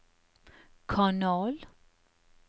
kanal